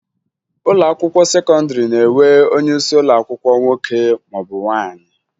Ụlọakwụkwọ sekọndịrị na-enwe onyeisi ụlọakwụkwọ nwoke maọbụ nwaanyị